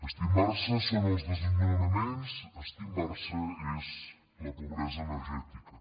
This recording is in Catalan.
estimbar se són els desnonaments estimbar se és la pobresa energètica